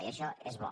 i això és bo